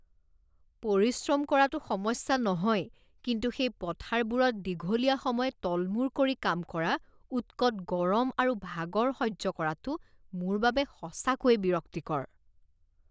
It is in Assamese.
পৰিশ্ৰম কৰাটো সমস্যা নহয়, কিন্তু সেই পথাৰবোৰত দীঘলীয়া সময় তলমূৰ কৰি কাম কৰা, উৎকত গৰম আৰু ভাগৰ সহ্য কৰাটো মোৰ বাবে সঁচাকৈয়ে বিৰক্তিকৰ।